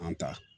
An ta